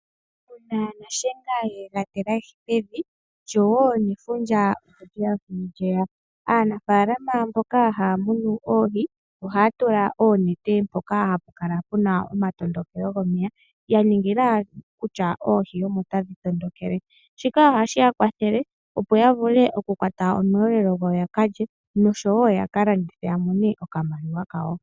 Una nashenga yega ti lahi pevi, ndjowo nefundja oleya na naafalama mboka ha ya munu oohi oha ya tula oonete dhawo mpoka hapu kala puna omatondokelo gomeya yaningila oohi omo dhi tondokele. Oku kwata oohi ohashi ya kwathele oku mona oshelelwa ya kalye oshowo oku ka landitha yamone iimaliwa yo kwi kwatha nayo.